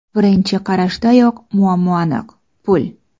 Birinchi qarashdayoq muammo aniq: pul.